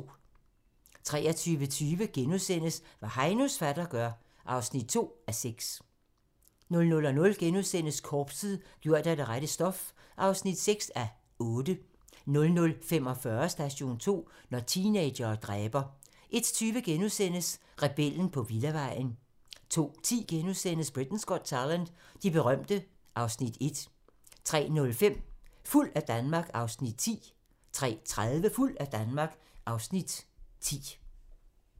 23:20: Hvad Heinos fatter gør (2:6)* 00:00: Korpset - gjort af det rette stof (6:8)* 00:45: Station 2: Når teenagere dræber 01:20: Rebellen på villavejen * 02:10: Britain's Got Talent - de berømte (Afs. 1)* 03:05: Fuld af Danmark (Afs. 9) 03:30: Fuld af Danmark (Afs. 10)